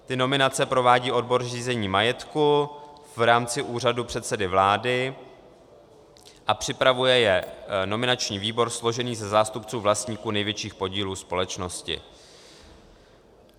Ty nominace provádí odbor řízení majetku v rámci úřadu předsedy vlády a připravuje je nominační výbor složený ze zástupců vlastníků největších podílů společnosti.